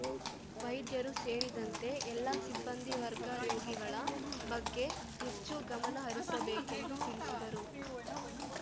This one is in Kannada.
ವೈದ್ಯರೂ ಸೇರಿದಂತೆ ಎಲ್ಲಾ ಸಿಬ್ಬಂದಿ ವರ್ಗ ರೋಗಿಗಳ ಬಗ್ಗೆ ಹೆಚ್ಚು ಗಮನಹರಿಸಬೇಕೆಂದು ತಿಳಿಸಿದರು